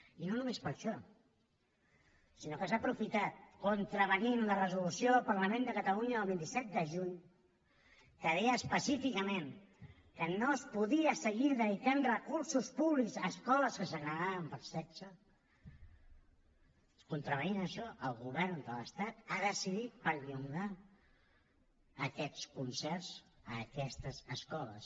i no només per a això sinó que s’ha aprofitat contravenint a la resolució del parlament de catalunya del vint set de juny que deia específicament que no es podien seguir dedicant recursos públics a escoles que segregaven per sexe contravenint a això el govern de l’estat ha decidit perllongar aquests concerts a aquestes escoles